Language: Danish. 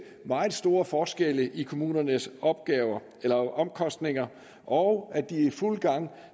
meget store forskelle i kommunernes omkostninger og at de er i fuld gang